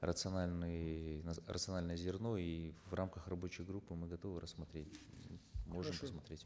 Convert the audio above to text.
рациональный рациональное зерно и в рамках рабочей группы мы готовы рассмотреть можешь рассмотреть